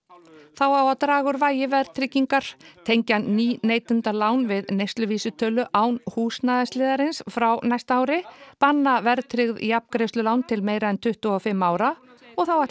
þá á að draga úr vægi verðtryggingar tengja ný neytendalán við neysluvísitölu án húsnæðisliðarins frá næsta ári banna verðtryggð jafngreiðslulán til meira en tuttugu og fimm ára og þá ætlar